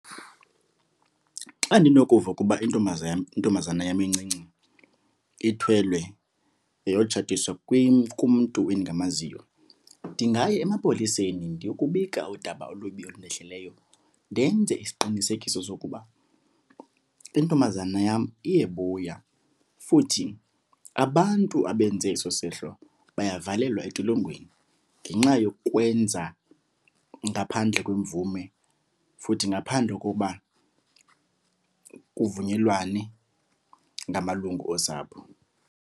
Xa ndinokuva ukuba intombazana, intombazana yam encinci ithwelwe yayotshatiswa kumntu endingamaziyo, ndingaya emapoliseni ndiyokubika udaba olubi olundehleleyo. Ndenze isiqinisekiso sokuba intombazana yam iyebuya futhi abantu abenze eso sehlo bayavalelwa entolongweni ngenxa yokwenza ngaphandle kwemvume futhi ngaphandle kokuba kuvunyelwane ngamalungu osapho.